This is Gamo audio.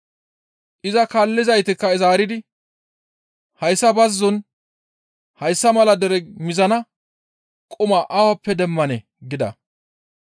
Iza kaallizaytikka zaaridi, «Hayssa bazzon hayssa mala dere mizana quma awappe demmanee?» gida.